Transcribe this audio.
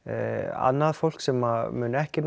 annað fólk sem mun ekki